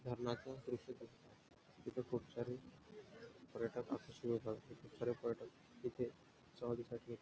धरणाचा प्रसिद्ध तिथ खूप सारे पर्यटक होतात खरं तर तिथे सावलीसाठी--